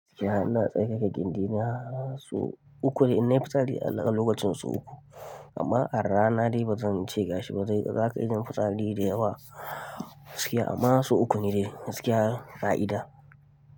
Gaskiya ina tsarkake gindi na, sau uku ne inna fitsari a lokacin sau uku. Amma a rana dai ba zan ce ga shi ba dan za ka iya yin fitsari da yawa gaskiya amma sau uku ne dai gaskiya ƙa'ida.